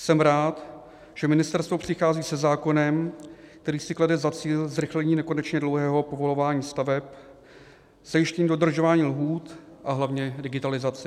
Jsem rád, že ministerstvo přichází se zákonem, který si klade za cíl zrychlení nekonečně dlouhého povolování staveb, zajištění dodržování lhůt a hlavně digitalizaci.